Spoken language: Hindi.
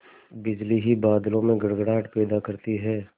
बिजली ही बादलों में गड़गड़ाहट पैदा करती है